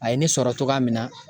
A ye ne sɔrɔ cogoya min na